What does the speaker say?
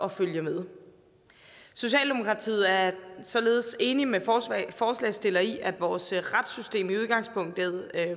at følge med socialdemokratiet er således enig med forslagsstillerne i at vores retssystem i udgangspunktet er